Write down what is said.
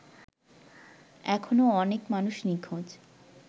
এখনো অনেক মানুষ নিঁখোজ